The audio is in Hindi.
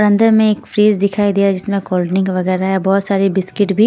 अंदर में एक फ्रिज दिखाई दिया जिसमें कोल्डड्रिंक वगैरह है बहुत सारी बिस्किट भी --